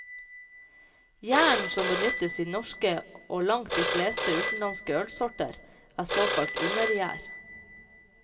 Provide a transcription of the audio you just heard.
Gjæren som benyttes i norske og langt de fleste utenlandske ølsorter, er såkalt undergjær.